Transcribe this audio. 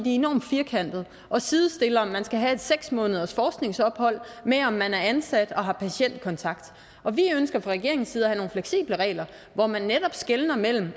enormt firkantede og sidestiller at man skal have et seks måneders forskningsophold med om man er ansat og har patientkontakt og vi ønsker fra regeringens side at have nogle fleksible regler hvor man netop skelner mellem